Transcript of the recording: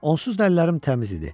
Onsuz da əllərim təmiz idi.